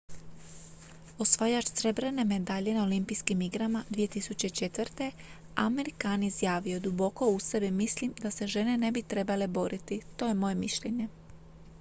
"osvajač srebrne medalje na olimpijskim igrama 2004. amir khan izjavio je: "duboko u sebi mislim da se žene ne bi trebale boriti. to je moje mišljenje.""